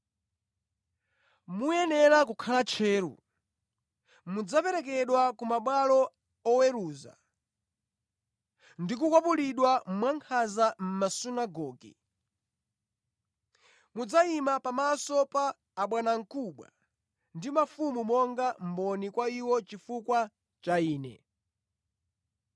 “Muyenera kukhala tcheru. Mudzaperekedwa ku mabwalo oweruza ndi kukwapulidwa mwankhanza mʼmasunagoge. Mudzayima pamaso pa abwanamkubwa ndi mafumu monga mboni kwa iwo chifukwa cha Ine.